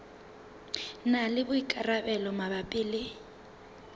na le boikarabelo mabapi le